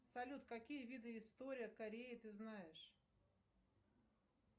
салют какие виды история кореи ты знаешь